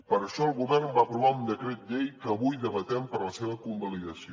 per això el govern va aprovar un decret llei que avui debatem per a la seva convalidació